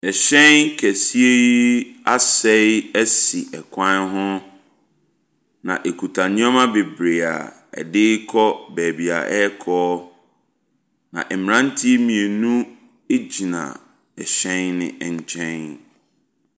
Ɛhyɛn kɛseɛɛɛɛ asɛe asi ɛkwan ho, na ɛkuta nneɛma bebree a ɛde rekɔ baabi a ɛrekɔ. Na mmeranteɛ mmienu gyina ɛhyɛn no nkyɛn.